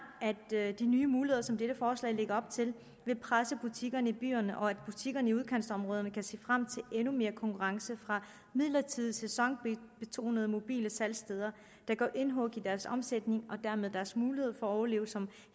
at de nye muligheder som dette forslag lægger op til vil presse butikkerne i byerne og at butikkerne i udkantsområderne kan se frem til endnu mere konkurrence fra midlertidige sæsonbetonede mobile salgssteder der gør indhug i deres omsætning og dermed deres mulighed for at overleve som